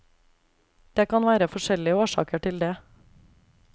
Det kan være forskjellig årsaker til det.